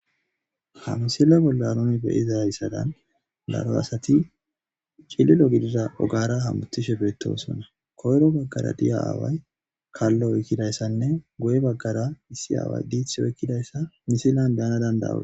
Ha missila bolla nuni beyizay hayssadan daro asati cililo gidida ogara hamutishsh beettosonna koyro baggara diya aaway kallo oykkidayssanne goye baggara issi aaway diiththi oykkidayssa misillan be'anaw dand'oos